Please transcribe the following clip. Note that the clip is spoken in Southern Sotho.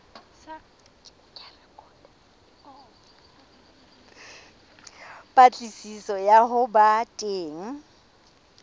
patlisiso ya ho ba teng